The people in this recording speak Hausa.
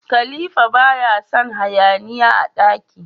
Khalifa baya Son hayaniya a daki